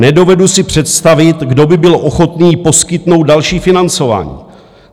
Nedovedu si představit, kdo by byl ochotný poskytnout další financování.